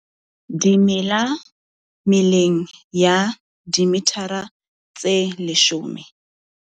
Dimela meleng ya dimethara tse leshome.